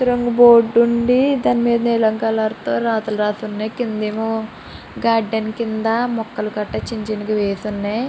రొంగు board ఉందీ దాని పైన నీలం కలర్ తో రాతలు రాసి ఉన్నాయి క్రింద ఎమ్మో గార్డెన్ కింద మొక్కలు గట చిన్న చిన్న గ వేసి ఉన్నాయి.